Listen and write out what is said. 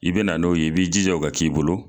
I bena n'o ye i b'i jija o ka k'i bolo